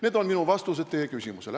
" Need on minu vastused teie küsimusele.